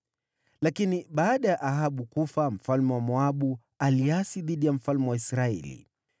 Lakini baada ya Ahabu kufa, mfalme wa Moabu aliasi dhidi ya mfalme wa Israeli.